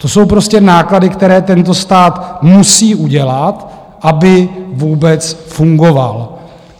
To jsou prostě náklady, které tento stát musí udělat, aby vůbec fungoval.